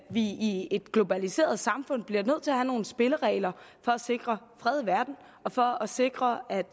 i et globaliseret samfund bliver nødt til at have nogle spilleregler for at sikre fred i verden og for at sikre at